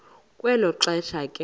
kwelo xesha ke